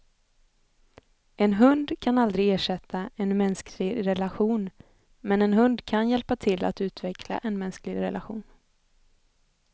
En hund kan aldrig ersätta en mänsklig relation, men en hund kan hjälpa till att utveckla en mänsklig relation.